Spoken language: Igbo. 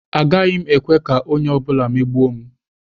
Agaghị m ekwe ka onye ọ bụla megbuo m.